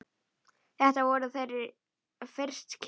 Þetta voru þeirra fyrstu kynni.